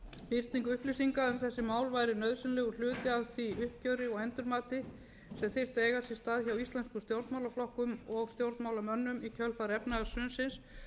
birting upplýsinga um þessi mál væri nauðsynlegur hluti af því uppgjöri og endurmati sem þyrfti að eiga sér stað hjá íslenskumstjórnmálaflokkum og stjórnmálamönnum í kjölfar efnahagshrunsins